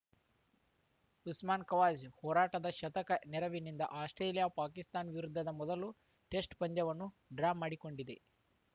ಉಸ್ಮಾನ್‌ ಖವಾಜ ಹೋರಾಟದ ಶತಕ ನೆರವಿನಿಂದ ಆಸ್ಪ್ರೇಲಿಯಾ ಪಾಕಿಸ್ತಾನ ವಿರುದ್ಧದ ಮೊದಲ ಟೆಸ್ಟ್‌ ಪಂದ್ಯವನ್ನು ಡ್ರಾ ಮಾಡಿಕೊಂಡಿದೆ